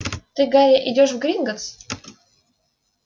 ты гарри идёшь в гринголлс